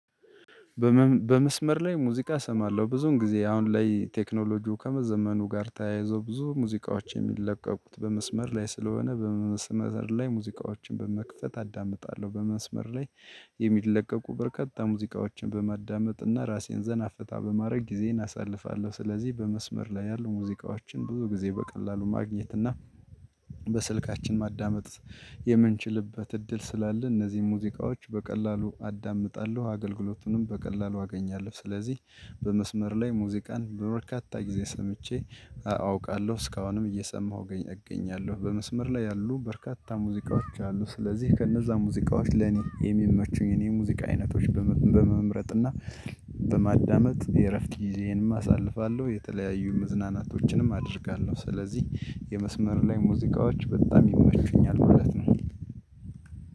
በመስመር ላይ ሙዚቃ እሰማለሁ ብዙውን ጊዜ አሁን ላይ ቴክኖሎጂው ከመዘመኑ ጋር ተያይዞ ብዙ ሙዚቃዎች የሚለቀቁት በመስመር ላይ ስለሆነ በመስመር ላይ ሙዚቃዎችን በመክፈት አዳምጣለሁ በመስመር ላይ የሚለቀቁ በርካታ ሙዚቃዎችን በማዳመጥ እና ራሴን ዘና ፈታ በማድረግ ጊዜን አሳልፋለሁ። ስለዚህ በመስመር ላይ ያሉ ሙዚቃዎችን ብዙ ጊዜ በቀላሉ ማግኘት እና በስልካችን ማዳመጥ የምንችልበት እድል ስላለ እነዚህን ሙዚቃዎች በቀላሉ አዳምጣለሁ አገልግሎቱንም በቀላሉ አገኛለሁ። ስለዚህ በመስመር ላይ ሙዚቃን በበርካታ ጊዜ ሰምቼ አውቃለሁ እስካሁንም እየሰማሁ እገኛለሁ። በመስመር ላይ ያሉ በርካታ ሙዚቃዎች አሉ ስለዚህ ከነዛ ሙዚቃዎች ለኔ የሚመቹኝ የኔ ሙዚቃ አይነቶች በመምረጥ እና በማዳመጥ የእረፍት ጊዜንም አሳልፋለሁ። የተለያዩ መዝናናቶችንም አደርጋለሁ ስለዚህ የመስመር ላይ ሙዚቃዎች በጣም ይመቹኛል ማለት ነው።